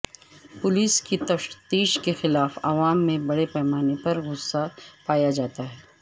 police کی تفتیش کے خلاف عوام میں بڑے پیمانے پر غصہ پایہ جاتا ہے